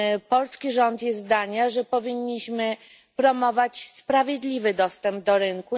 Polski rząd jest zdania, że powinniśmy promować sprawiedliwy dostęp do rynku.